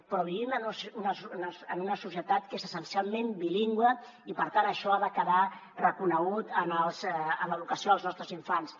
però vivim en una societat que és essencialment bilingüe i per tant això ha de quedar reconegut en l’educació dels nostres infants